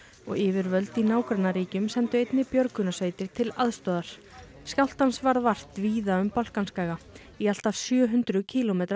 og yfirvöld í nágrannaríkjum sendu einnig björgunarsveitir til aðstoðar skjálftans varð vart víða um Balkanskaga í allt að sjö hundruð kílómetra